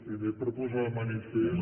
primer per posar de manifest